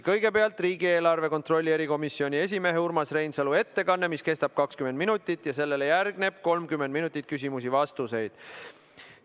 Kõigepealt on riigieelarve kontrolli erikomisjoni esimehe Urmas Reinsalu ettekanne, mis kestab 20 minutit, sellele järgneb 30 minutit küsimusi ja vastuseid.